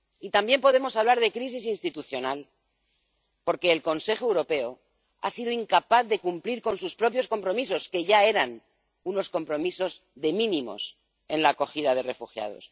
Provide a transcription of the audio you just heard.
También podemos hablar de crisis institucional, porque el Consejo Europeo ha sido incapaz de cumplir con sus propios compromisos, que ya eran unos compromisos de mínimos en la acogida de refugiados.